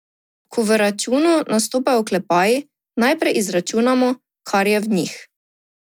Ko v računu nastopajo oklepaji, najprej izračunamo, kar je v njih.